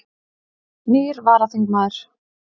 Nýr varaþingmaður